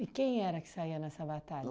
quem era que saía nessa batalha?